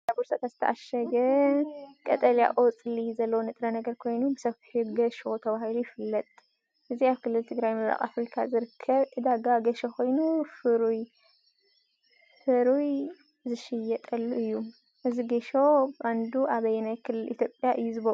ኣብ ጻዕዳ ቦርሳታት ዝተዓሸገ ቀጠልያ ቆጽሊ ዘለዎ ንጥረ ነገር ኮይኑ፡ ብሰፊሑ "ገሾ" ተባሂሉ ይፍለጥ። እዚ ኣብ ክልልትግራይ ምብራቕ ኣፍሪካ ዝርከብ ዕዳጋ ገሾ ኮይኑ፡ ፍሩይ ዝሽየጠሉ እዩ። እዚ ጌሾ ብቐንዱ ኣብ ኣየናይ ክልል ኢትዮጵያ እዩ ዝቦቕል?